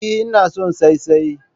Eh, ina son saisaye